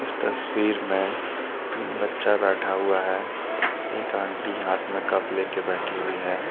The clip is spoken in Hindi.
इस तस्वीर में तीन बच्चा बैठा हुआ है एक आंटी हाथ में कप ले के बैठी हुई है।